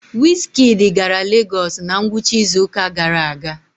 wizkid gara lagos na ngwụcha izuụka gara aga?